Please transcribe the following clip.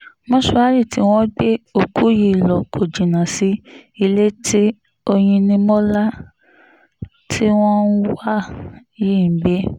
mòṣùárì tí wọ́n gbé òkú yìí lọ kò jìnnà sí ilé tí oyinnimọ́lá tí wọ́n ń wá yìí ń gbé